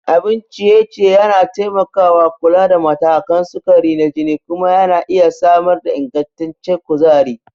Abun ciye-ciye yana taimakawa kula da matakan sukari na jini kuma yana iya samar da ingantaccen kuzari.